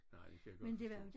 Nej det kan jeg godt forstå